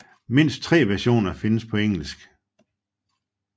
Mindst tre versioner findes på engelsk